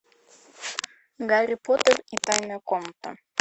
гарри поттер и тайная комната